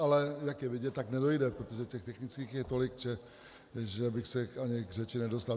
Ale jak je vidět, tak nedojde, protože těch technických je tolik, že bych se ani k řeči nedostal.